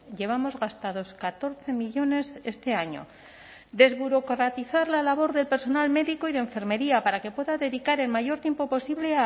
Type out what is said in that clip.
llevamos gastados catorce millónes este año desburocratizar la labor del personal médico y de enfermería para que pueda dedicar el mayor tiempo posible